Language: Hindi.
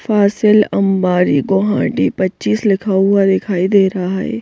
फासिल अंबारी गोहाटी पचीस लिखा हुआ दिखाई दे रहा है ।